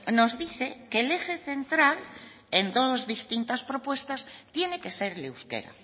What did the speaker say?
nos dice que el eje central en todos distintas propuestas tiene que ser el euskera